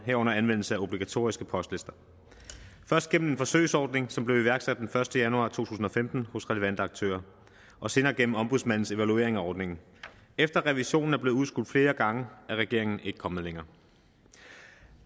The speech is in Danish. herunder anvendelse af obligatoriske postlister først gennem en forsøgsordning som blev iværksat den første januar to tusind og femten hos relevante aktører og senere gennem ombudsmandens evaluering af ordningen efter at revisionen er blevet udskudt flere gange er regeringen ikke kommet længere